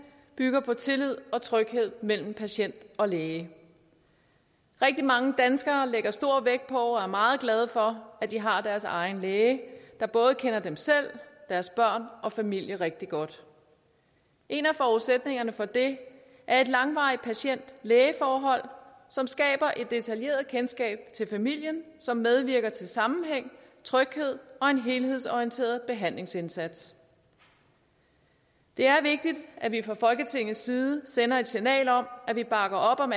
bygger på tillid og tryghed mellem patient og læge rigtig mange danskere lægger stor vægt på og er meget glade for at de har deres egen læge der både kender dem selv og deres børn og familie rigtig godt en af forudsætningerne for det er et langvarigt patient læge forhold som skaber et detaljeret kendskab til familien som medvirker til sammenhæng tryghed og en helhedsorienteret behandlingsindsats det er vigtigt at vi fra folketingets side sender et signal om at vi bakker op om